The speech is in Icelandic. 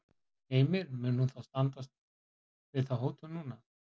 Heimir, mun hún þá standa við þá hótun núna?